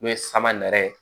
N'o ye sama nɛrɛ ye